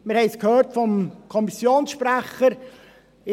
Wir haben es vom Kommissionssprecher gehört: